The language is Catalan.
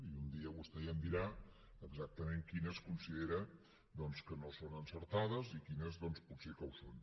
i un dia vostè ja em dirà exactament quines considera que no són encertades i quines potser ho són